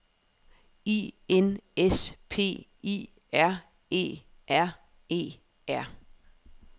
I N S P I R E R E R